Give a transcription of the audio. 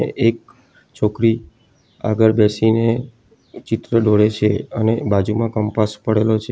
એક છોકરી આગળ બેસીને ચિત્ર દોરે છે અને બાજુમાં કંપાસ પડેલો છે.